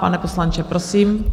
Pane poslanče, prosím.